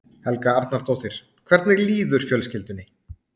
Helga Arnardóttir: Hvernig líður fjölskyldunni?